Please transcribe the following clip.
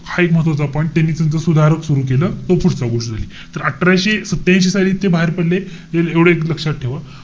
हा एक महत्वाचा point. त्यांनी त्यांचं सुधारक सुरु केलं. तो पुढचा गोष्ट झाली. तर अठराशे सत्यांशी साली ते बाहेर पडले. एवढं एक लक्षात ठेवा.